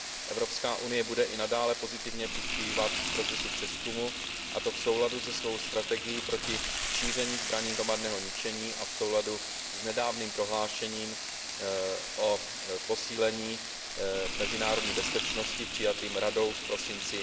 Evropská unie bude i nadále pozitivně přispívat k procesu přezkumu, a to v souladu se svou strategií proti šíření zbraní hromadného ničení a v souladu s nedávným prohlášením o posílení mezinárodní bezpečnosti přijatým Radou v prosinci